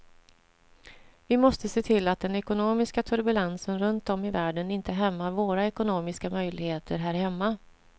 Vi måste se till att den ekonomiska turbulensen runt om i världen inte hämmar våra ekonomiska möjligheter här hemma.